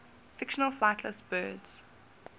fictional flightless birds